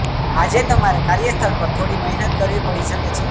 આજે તમારે કાર્યસ્થળ પર થોડી મહેનત કરવી પડી શકે છે